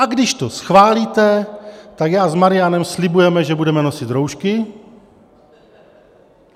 A když to schválíte, tak já s Marianem slibujeme, že budeme nosit roušky.